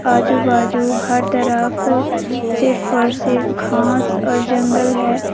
आजू बाजू हर तरफ सिर्फ और सिर्फ घास और जंगल है।